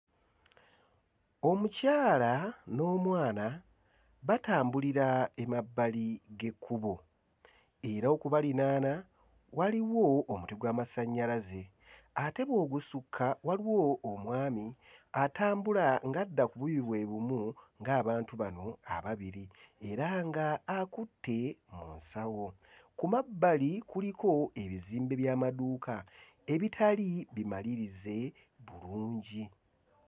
Omukyala n'omwana batambulira emabbali g'ekkubo era okubalinaana waliwo omuti gw'amasannyalaze ate bw'ogusukka waliwo omwami atambula ng'adda ku buuyi bwe bumu ng'abantu bano ababiri era ng'akutte mu nsawo, ku mabbali kuliko ebizimbe by'amaduuka ebitali bimalirize bulungi.